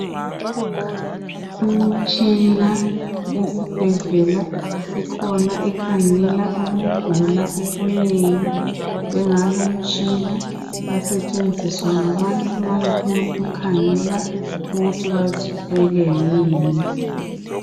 Imitshina esibhedlela ikhona ekhangela ukugula okunengi njengalu mtshina uyasetshenziswa ngabantu nxa befunu kukhangela ukuthi bazithwele yini.